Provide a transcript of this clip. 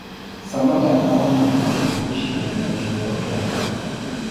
Samatta na Wanyama gũshidanĩra kĩveo kĩa CAF